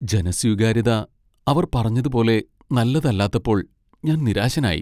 ജനസ്വീകാര്യത അവർ പറഞ്ഞതുപോലെ നല്ലതല്ലാത്തപ്പോൾ ഞാൻ നിരാശനായി.